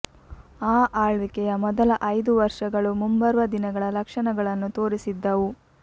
ಆ ಆಳ್ವಿಕೆಯ ಮೊದಲ ಐದು ವರ್ಷಗಳು ಮುಂಬರುವ ದಿನಗಳ ಲಕ್ಷಣಗಳನ್ನು ತೋರಿಸಿದ್ದವು